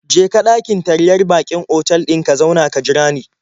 Je ka ɗakin taryar baƙin otal ɗin ka zauna ka jira ni.